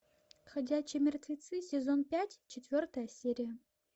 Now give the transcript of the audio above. ходячие мертвецы сезон пять четвертая серия